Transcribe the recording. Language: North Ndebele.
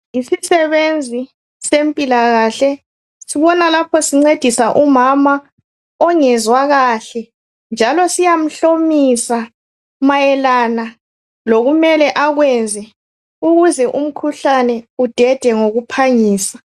Yisisebenzi sempilakahle sibona lapho sincedisa umama ongezwa kahle njalo siyamhlomisa mayelana lokumele akwenze ukuze umkhuhlane udede ngokuphangisa